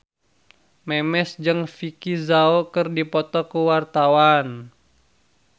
Memes jeung Vicki Zao keur dipoto ku wartawan